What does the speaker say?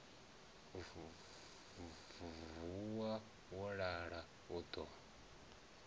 vuwa wo lala u ḓo